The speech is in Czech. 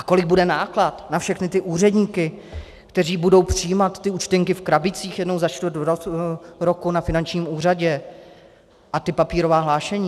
A kolik bude náklad na všechny ty úředníky, kteří budou přijímat ty účtenky v krabicích jednou za čtvrt roku na finančním úřadě, a ta papírová hlášení?